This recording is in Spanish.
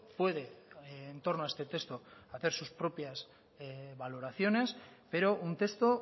puede en torno a este texto hacer sus propias valoraciones pero un texto